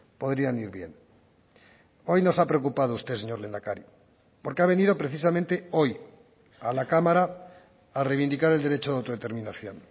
podrían ir bien hoy nos ha preocupado usted señor lehendakari porque ha venido precisamente hoy a la cámara a reivindicar el derecho de autodeterminación